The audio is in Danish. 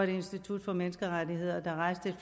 institut for menneskerettigheder der hejste et